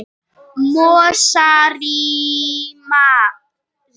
Mosarima